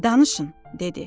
Danışın, dedi.